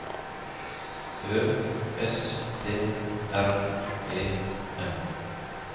Ø S T R E M